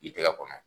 I tɛgɛ kɔnɔ